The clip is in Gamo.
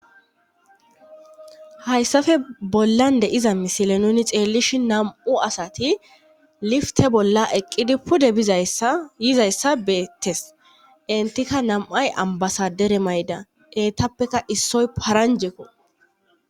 Hayssafe bollande iza misile nuni xeellishi nam7u asati lifte bolla eqqidi pude izayizayssa beettes intika nam7ay ambasadere mayda eetappeka issoy paranjeko